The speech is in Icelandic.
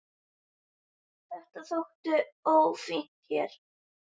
Þetta þætti ófínt hér.